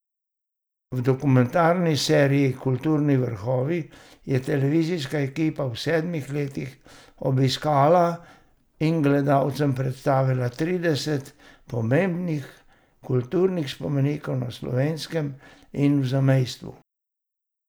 V dokumentarni seriji Kulturni vrhovi je televizijska ekipa v sedmih letih obiskala in gledalcem predstavila trideset pomembnih kulturnih spomenikov na Slovenskem in v zamejstvu.